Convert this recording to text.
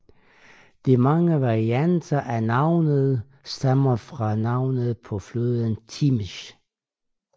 De mange varianter af navnet stammer fra navnet på floden Timiş